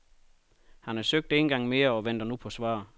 Han har søgt en gang mere og venter nu på svar.